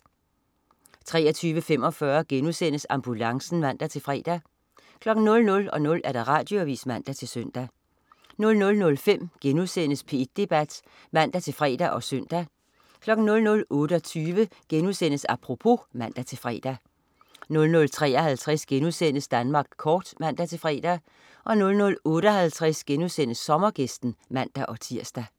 23.45 Ambulancen* (man-fre) 00.00 Radioavis (man-søn) 00.05 P1 Debat* (man-fre og søn) 00.28 Apropos* (man-fre) 00.53 Danmark kort* (man-fre) 00.58 Sommergæsten* (man-tirs)